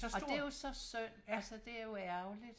Og det jo så synd altså det er jo ærgerligt